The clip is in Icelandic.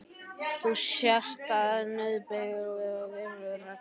Þú sért aðeins nauðbeygður að virða reglurnar.